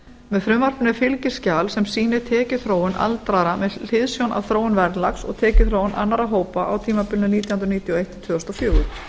með frumvarpinu er fylgiskjal sem sýnir tekjuþróun aldraðra með hliðsjón af þróun verðlags og tekjuþróun annarra hópa á tímabilinu nítján hundruð níutíu og eitt til tvö þúsund og fjögur